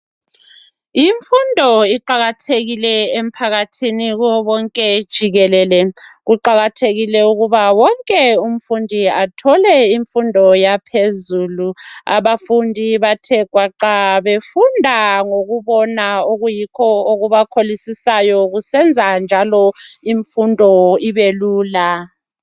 Imfundo iqakathekile emphakathini kuwo wonke jikelele. Kuqakathekile ukuba wonke umfundi athole imfundo yaphezulu abafundi bathe gwaqa befunda ngokubona okuyikho okubakholisisayo kusenza njalo ukuthi imfundo ibe lula.